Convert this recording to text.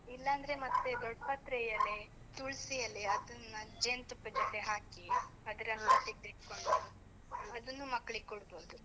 ಇಲ್ಲಾಂದ್ರೆ ಮತ್ತೆ ದೊಡ್ಡ್ ಪತ್ರೆ ಎಲೆ, ತುಳ್ಸಿ ಎಲೆ ಅದನ್ನ ಜೇನ್ತುಪ್ಪದ್ ಜೊತೆ ಹಾಕಿ ಅದ್ರ ರಸ ತೆಗ್ದ್ ಇಟ್ಕೊಂಡು ಅದನ್ನು ಮಕ್ಕ್ಳಿಗ್ ಕೊಡ್ಬೋದು.